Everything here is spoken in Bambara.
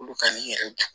Olu ka nin yɛrɛ